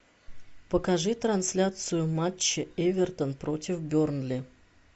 покажи трансляцию матча эвертон против бернли